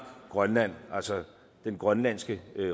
og grønland altså den grønlandske